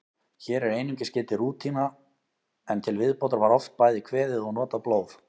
Hér er einungis getið rúna, en til viðbótar var oft bæði kveðið og notað blóð.